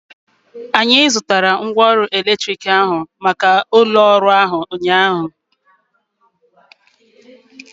Anyị zụtara mgwooru elektriki ahu maka ụlọ ọhụrụ ahu ụnyaahụ